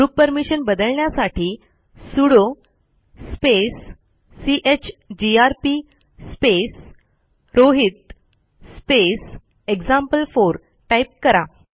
group permission बदलण्यासाठी sudo space chgrp space Rohit space example type करा